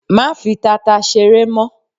Má fi tata ṣeré mọ́!